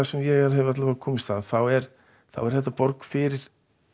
sem ég hef komist að þá er er þetta borg fyrir